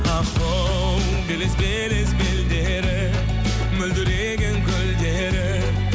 ахоу белес белес белдері мөлдіреген көлдері